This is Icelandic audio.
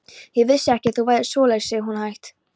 Ég vissi ekki að þú værir svoleiðis, segir hún hægt.